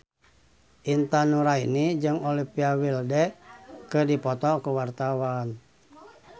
Intan Nuraini jeung Olivia Wilde keur dipoto ku wartawan